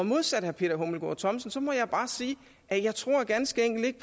modsat herre peter hummelgaard thomsen må jeg bare sige at jeg ganske enkelt ikke